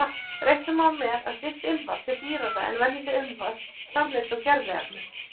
Reikna má með að slíkt ilmvatn sé dýrara en venjuleg ilmvötn framleidd úr gerviefnum.